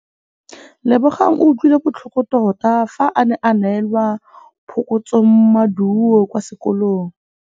Lebogang o utlwile botlhoko tota fa a neelwa phokotsômaduô kwa sekolong.